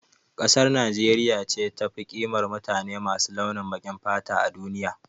Kasar Nijeriya ce tafi ƙimar mutane masu launin baƙin fata a duniya